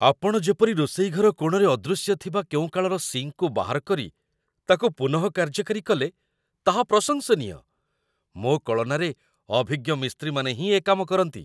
ଆପଣ ଯେପରି ରୋଷେଇଘର କୋଣରେ ଅଦୃଶ୍ୟ ଥିବା କେଉଁ କାଳର ସିଙ୍କ୍‌କୁ ବାହାର କରି ତାକୁ ପୁନଃ କାର୍ଯ୍ୟକାରୀ କଲେ, ତାହା ପ୍ରଶଂସନୀୟ। ମୋ କଳନାରେ ଅଭିଜ୍ଞ ମିସ୍ତ୍ରୀମାନେ ହିଁ ଏ କାମ କରନ୍ତି।